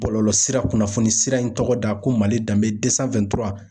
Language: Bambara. Bɔlɔlɔsira, kunnafoni sira in tɔgɔ da ko Mali danbe